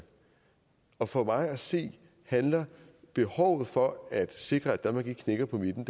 og for mig at se handler behovet for at sikre at danmark ikke knækker på midten